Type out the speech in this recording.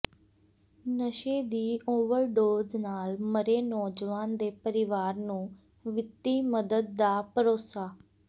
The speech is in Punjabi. ਨਸ਼ੇ ਦੀ ਓਵਰਡੋਜ਼ ਨਾਲ ਮਰੇ ਨੌਜਵਾਨ ਦੇ ਪਰਿਵਾਰ ਨੂੰ ਵਿੱਤੀ ਮੱਦਦ ਦਾ ਭਰੋਸਾ